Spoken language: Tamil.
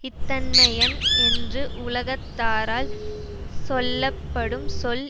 இத்தன்மையன் என்று உலகத்தாரால் சொல்ல படும் சொல்